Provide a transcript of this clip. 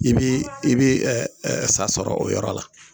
I bɛ i bɛ sa sɔrɔ o yɔrɔ la